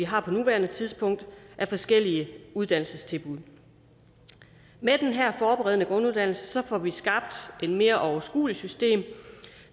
har på nuværende tidspunkt af forskellige uddannelsestilbud med den her forberedende grunduddannelse får vi skabt et mere overskueligt system